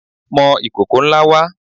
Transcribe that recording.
Mọ ìkòkò ńlá wá!